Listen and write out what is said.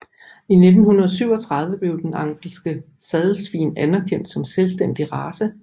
I 1937 blev den angelske sadelsvin anerkendt som selvstændig race